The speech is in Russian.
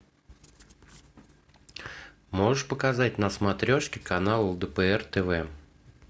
можешь показать на смотрешке канал лдпр тв